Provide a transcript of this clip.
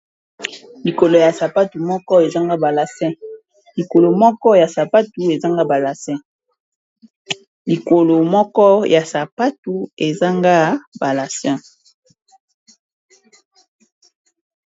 Likolo ya sapatu moko ezanga balacn, likolo moko ya sapatu ezanga balace, likolo yasapatu ezanga balace.